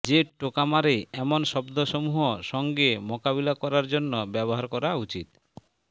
যে টোকা মারে এমন শব্দসমূহ সঙ্গে মোকাবিলা করার জন্য ব্যবহার করা উচিত